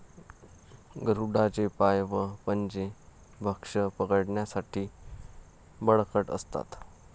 गरुडांचे पाय व पंजे भक्ष्य पकडण्यासाठी बळकट असतात.